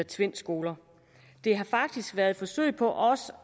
tvind skoler det har faktisk været et forsøg på også